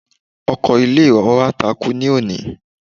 Ọkọ ilé ìwé wa takú ní òní.